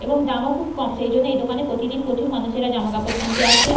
এবং দাম ও খুব কম সেই জন্য এই দোকানে প্রতিদিন প্রচুর মানুষেরা জামাকাপড় কিনতে আসে ।